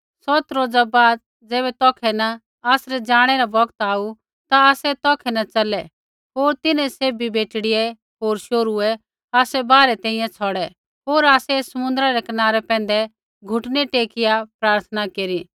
सौत रोज़ा बाद ज़ैबै तौखै न आसरै जाणै रा बौगत आऊ ता आसै तौखै न च़लै होर तिन्हैं सैभी बेटड़ियै होर शोहरूऐ आसै बाहरै तैंईंयैं छ़ौड़ै होर आसै समुन्द्रा रै कनारै पैंधै घुटनै टेकिआ प्रार्थना केरी